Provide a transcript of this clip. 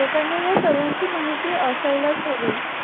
लोकांना हि ह्या सर्वांची माहिती असायलाच हवी